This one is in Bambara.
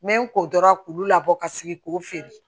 N bɛ n ko dɔrɔn k'u labɔ ka sigi k'u feere